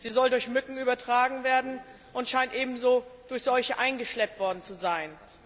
Sie soll durch Mücken übertragen werden und scheint ebenso durch solche eingeschleppt worden zu sein.